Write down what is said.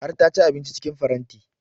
Har ta ci abinci cikin faranti